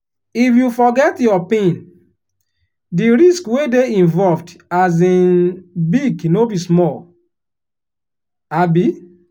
if you forget your pin the risk wey dey involved um big no be small. um